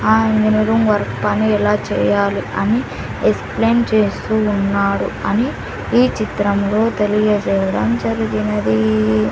ఆ engineering work పని ఎలా చేయాలి అని ఎక్స్ ప్లెయిన్ చేస్తూ ఉన్నారు అని ఈ చిత్రం లో తెలియజేయడం జరిగినది --